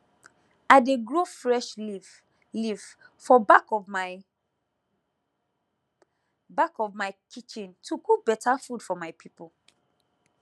i dey grow fresh leafleaf for back of my back of my kitchen to cook better food for my people